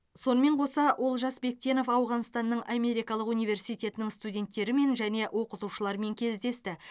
сонымен қоса олжас бектенов ауғанстанның америкалық университетінің студенттерімен және оқытушыларымен кездесті